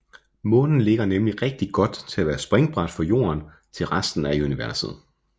Månen ligger nemlig rigtig godt til at være springbræt for Jorden til resten af universet